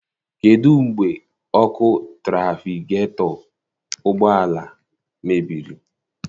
Kedụ mgbe ọkụ trafigetọ ụgbọala mebiri?